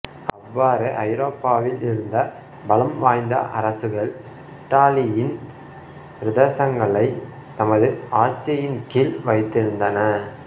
அவ்வாறே ஐரோப்பாவில் இருந்த பலம் வாய்ந்த அரசுகள் இத்தாலியின் பிரதேசங்களைத் தமது ஆட்சியின் கீழ் வைத்திருந்தன